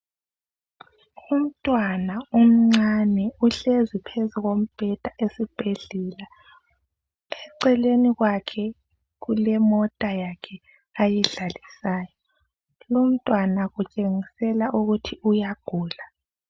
Umntwana omncane uhlezi phezu kombheda esibhedlela .Eceleni kwakhe kulemota yakhe ayidlalisayo. Lumntwana utshengisela ukuthi uyagula .